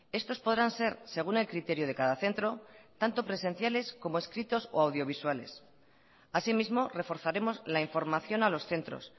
estos podrán ser según el criterio de cada centro tanto presenciales como escritos o audiovisuales así mismo reforzaremos la información a los centros